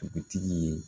Dugutigi ye